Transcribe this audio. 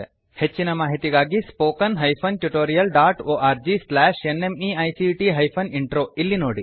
ಹೆಚ್ಚಿನ ಮಾಹಿತಿಗಾಗಿ spoken hyphen tutorial dot org slash NMEICT hyphen intro ಇಲ್ಲಿ ನೋಡಿ